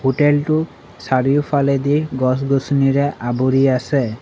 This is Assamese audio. হোটেলটো চাৰিওফালেদি গছ-গছনিৰে আৱৰি আছে।